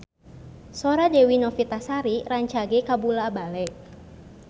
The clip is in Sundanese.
Sora Dewi Novitasari rancage kabula-bale